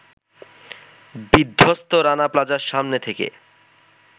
বিধ্বস্ত রানা প্লাজার সামনে থেকে